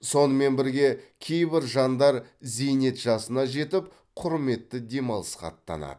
сонымен бірге кейбір жандар зейнет жасына жетіп құрметті демалысқа аттанады